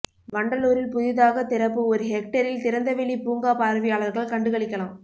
வண்டலூரில் புதிதாக திறப்பு ஒரு ஹெக்டேரில் திறந்தவெளி பூங்கா பார்வையாளர்கள் கண்டுகளிக்கலாம்